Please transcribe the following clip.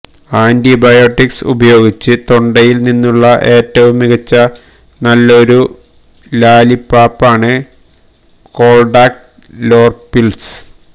antibiotics ഉപയോഗിച്ച് തൊണ്ടയിൽ നിന്നുള്ള ഏറ്റവും മികച്ച നല്ലൊരു ലാലിപ്പാപ്പാണ് കോൾഡാക്കറ്റ് ലോർപിൾസ്